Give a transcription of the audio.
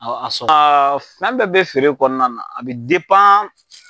fɛn bɛɛ bɛ feere kɔnɔna na a bɛ